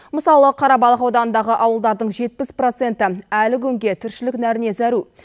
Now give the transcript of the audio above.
мысалы қарабалық ауданындағы ауылдардың жетпіс проценті әлі күнге тіршілік нәріне зәру